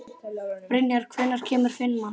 Brynjar, hvenær kemur fimman?